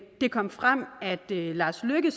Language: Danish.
det kom frem at lars løkke